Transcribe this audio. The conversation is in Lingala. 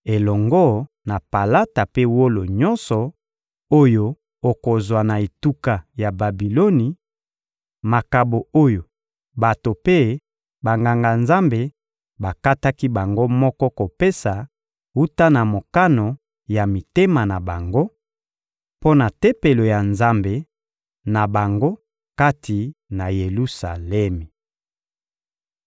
elongo na palata mpe wolo nyonso oyo okozwa na etuka ya Babiloni, makabo oyo bato mpe Banganga-Nzambe bakataki bango moko kopesa wuta na mokano ya mitema na bango, mpo na Tempelo ya Nzambe na bango kati na Yelusalemi.